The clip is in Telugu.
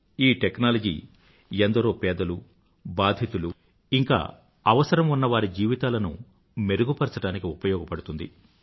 ఈ టెక్నాలజీ ఎందరో పేదలు baadhiతులు అవసరం ఉన్నవారి జీవితాలను మెరుగుపరచడానికి ఉపయోగపడుతుంది